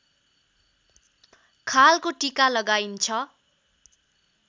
खालको टीका लगाइन्छ